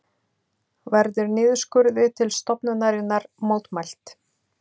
Verður niðurskurði til stofnunarinnar mótmælt